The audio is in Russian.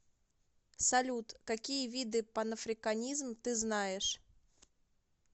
салют какие виды панафриканизм ты знаешь